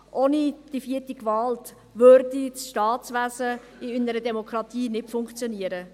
Ohne die vierte Gewalt würde das Staatswesen in einer Demokratie nicht funktionieren.